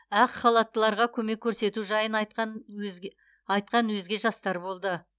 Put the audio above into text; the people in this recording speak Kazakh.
ақ халаттыларға көмек көрсету жайын айтқан өзге айтқан өзге жастар болды